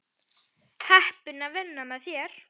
Heppin að vinna með þér.